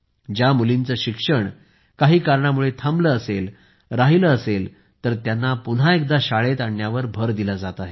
ज्या मुलींचे शिक्षण काही कारणामुळे थांबलं असेल राहिलं असेल तर त्यांना पुन्हा एकदा शाळेत आणण्यावर भर दिला जात आहे